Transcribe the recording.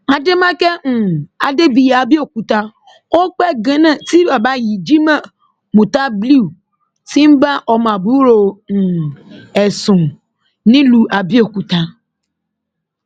adémákẹ́ um adébíyì abẹòkúta ó pẹ gan náà tí bàbá yìí jimoh mutabliu ti ń bá ọmọ àbúrò um ẹ sùn nílùú abẹọkúta